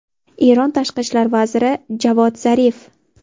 Eron tashqi ishlar vaziri Javod Zarif.